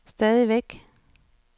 stadigvæk